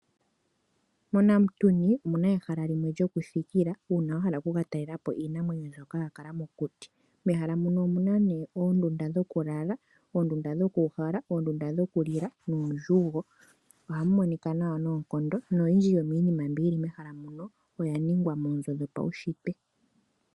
MOnamutuni omuna ehala limwe lyokuthikila moka uuna wahala oku ka talela po iinamwenyo myoka ya kala mokuti, mehala muno omuna nee oondunda dhoku lala, oondunda dhokuuhala, oondunda dhoku li la nuudjugo. Ohamu monika nawa noonkondo noyindji yomiinima mbi yili mehala muno oya ningwa moonzo dhopaushitwe.